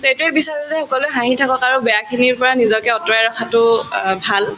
তে এইটোয়ে বিচাৰো যে সকলোয়ে হাঁহি থাকাক আৰু বেয়াখিনিৰ পৰা নিজকে আতৰাই ৰখাটো অ ভাল